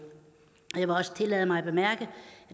jeg vil også tillade mig at bemærke at